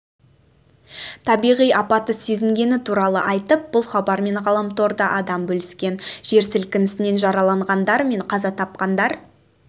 табиғи апатты сезінгені туралы айтып бұл хабармен ғаламторда адам бөліскен жер сілкінісінен жараланғандар мен қаза тапқандар